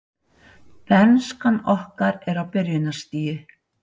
Bernskan okkar er á byrjunarstigi.